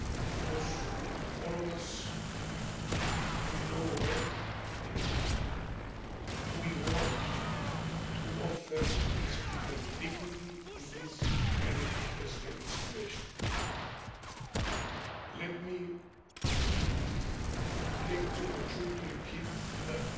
because all of us, we know well and we want to offer these people dignity in this very unprecedented situation. Let me take this opportunity to repeat that